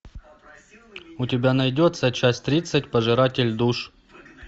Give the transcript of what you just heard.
у тебя найдется часть тридцать пожиратель душ